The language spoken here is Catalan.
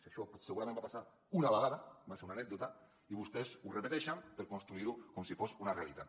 això segurament va passar una vegada va ser una anècdota i vostès ho repeteixen per construir ho com si fos una realitat